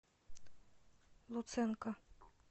луценко